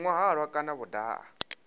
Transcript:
nwa halwa kana vho daha